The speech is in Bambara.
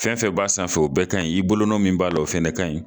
Fɛn fɛn b'a sanfɛ o bɛɛ kaɲi, i bolonɔn min b'a la, o fɛnɛ kaɲi